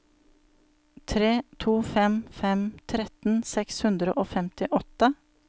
tre to fem fem tretten seks hundre og femtiåtte